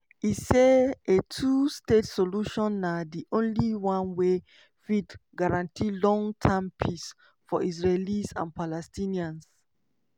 e say a two-state solution na "di only one wey fit guarantee long-term peace" for israelis and palestinians.